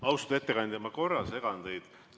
Austatud ettekandja, ma korra segan teid.